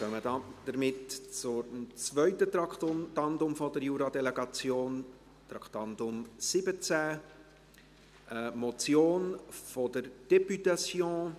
Wir kommen somit zum zweiten Traktandum der Jura-Delegation, Traktandum 17, eine Motion der Députation: